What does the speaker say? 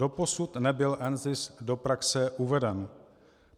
Doposud nebyl NZIS do praxe uveden.